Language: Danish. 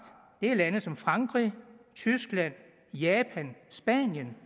det er lande som frankrig tyskland japan og spanien